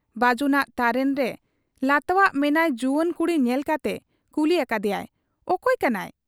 ᱵᱟᱹᱡᱩᱱᱟᱜ ᱛᱟᱨᱮᱱᱨᱮ ᱞᱟᱛᱣᱟᱜᱨᱮ ᱢᱮᱱᱟᱭ ᱡᱩᱣᱟᱹᱱ ᱠᱩᱲᱤ ᱧᱮᱞ ᱠᱟᱛᱮ ᱠᱩᱞᱤ ᱟᱠᱟᱫ ᱮᱭᱟᱭ, 'ᱚᱠᱚᱭ ᱠᱟᱱᱟᱭ ?